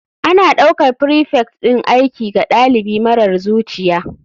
Ana ɗaukar prefect ɗin aiki ga ɗalibi marar zuciya.